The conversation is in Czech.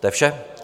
To je vše.